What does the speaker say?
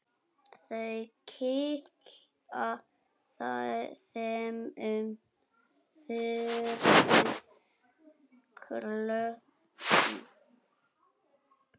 Þau kinka þremur kollum.